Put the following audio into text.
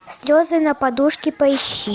слезы на подушке поищи